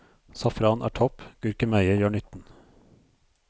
Safran er topp, gurkemeie gjør nytten.